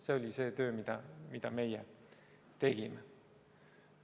See oli see töö, mida meie tegime.